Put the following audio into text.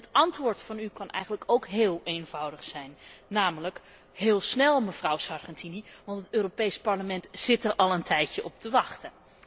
En het antwoord van u kan eigenlijk ook heel eenvoudig zijn heel snel, mevrouw Sargentini, want het Europees Parlement zit er al een tijdje op te wachten.